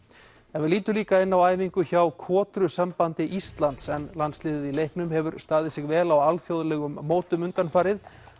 við lítum líka inn á æfingu hjá Íslands en landsliðið í leiknum hefur staðið sig vel á alþjóðlegum mótum undanfarið